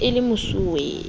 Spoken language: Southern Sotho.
e se e le mesuwe